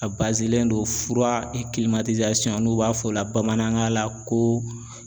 A don fura n'u b'a fɔ o la bamanankan la ko